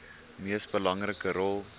mees belangrike rol